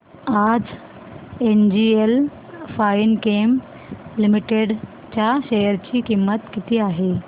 आज NGL finechem limited च्या share ची किंमत किती आहे